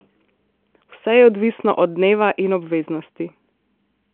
Vse je odvisno od dneva in obveznosti.